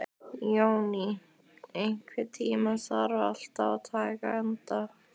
Jóný, einhvern tímann þarf allt að taka enda.